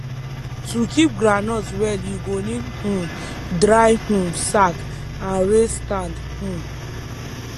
to keep groundnut well u go need um dry um sack and raise stand um